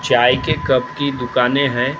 चाय के कप की दुकानें हैं।